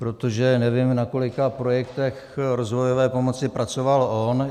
Protože nevím, na kolika projektech rozvojové pomoci pracoval on.